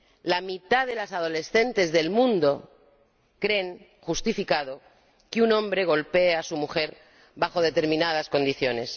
La mitad de las adolescentes del mundo creen justificado que un hombre golpee a su mujer bajo determinadas condiciones.